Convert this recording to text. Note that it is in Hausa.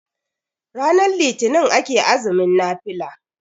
ranar litinin ake azumin nafila